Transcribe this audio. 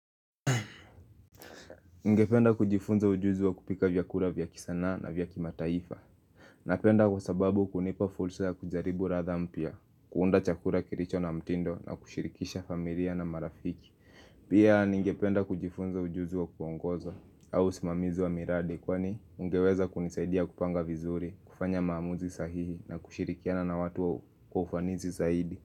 Ningependa kujifunza ujuzi wa kupika vyakula vya kisanaa na vya kimataifa Napenda kwa sababu hunipa fursa ya kujaribu ladha mpya, kuunda chakula kilicho na mtindo na kushirikisha familia na marafiki Pia ningependa kujifunza ujuzi wa kuongoza au usimamizi wa miradi kwani ungeweza kunisaidia kupanga vizuri, kufanya maamuzi sahihi na kushirikiana na watu kwa ufanisi zaidi.